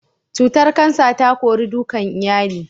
Cutar kansa ta kori dukan iyali